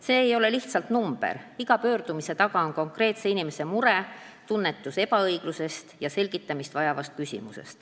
See ei ole lihtsalt number, iga pöördumise taga on konkreetse inimese mure, kes tunnetab ebaõiglust, on selgitamist vajav küsimus.